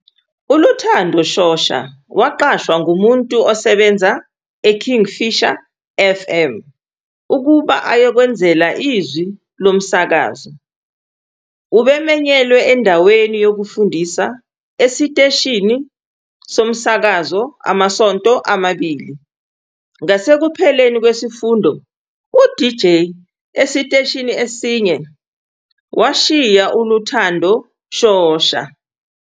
ULuthando Shosha waqashwa ngumuntu osebenza eKingfisher FM ukuba ayokwenzela izwi lo msakazo. Ubemenyelwe endaweni yokufundisa esiteshini esiteshini somsakazo amasonto amabili, ngasekupheleni kwesifundo uDJ esiteshini eshiye ishiya uLuthando Shosha.